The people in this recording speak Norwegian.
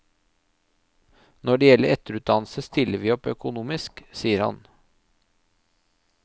Når det gjelder etterutdannelse stiller vi opp økonomisk, sier han.